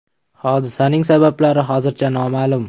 Hodisaning sabablari hozircha noma’lum.